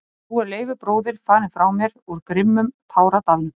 Og nú er Leifur bróðir farinn frá mér úr grimmum táradalnum.